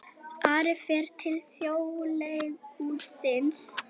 Ari fer til Þjóðleikhússins